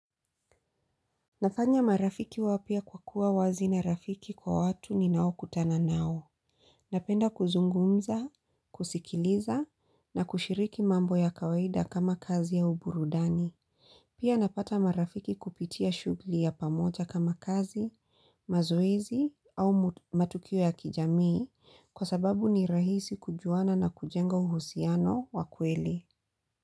Nafanya marafiki wapya kwa kuwa wazi na rafiki kwa watu ninao kutana nao. Napenda kuzungumza, kusikiliza na kushiriki mambo ya kawaida kama kazi au burudani. Pia napata marafiki kupitia shugli ya pamoja kama kazi, mazoezi au matukio ya kijamii kwa sababu ni rahisi kujuana na kujenga uhusiano wa kweli.